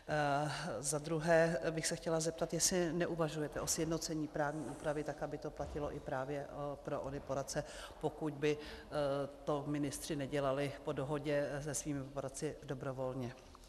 Za druhé bych se chtěla zeptat, jestli neuvažujete o sjednocení právní úpravy tak, aby to platilo i právě pro ony poradce, pokud by to ministři nedělali po dohodě se svými poradci dobrovolně.